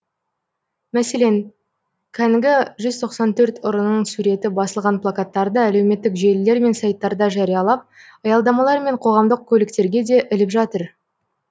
мәселен кәнігі жүз тоқсан төрт ұрының суреті басылған плакаттарды әлеуметтік желілер мен сайттарда жариялап аялдамалар мен қоғамдық көліктерге де іліп жатыр